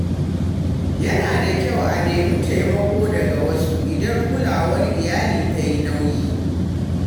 Yana da kyau a nemi taimako daga wasu idan kulawar iyali ta yi nauyi.